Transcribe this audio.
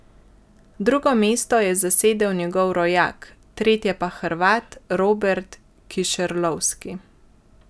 Drugo mesto je zasedel njegov rojak , tretje pa Hrvat Robert Kišerlovski.